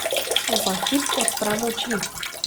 Za hip odprem oči.